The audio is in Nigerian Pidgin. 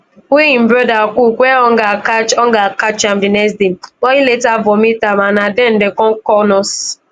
wey im broda cook wen hunger catch hunger catch am di next day but e later vomit am and na den dem kon call nurse